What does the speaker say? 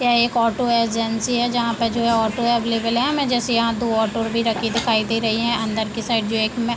एक auto agency है जहाँ पे जो हैं ऑटो अवेलेबल है मैं जैसे यहाँ दो ऑटो भी रखे दिखाई दे रहे है अंदर के साइड जो एक में --